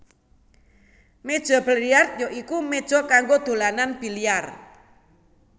Méja biliar ya iku méja kanggo dolanan biliar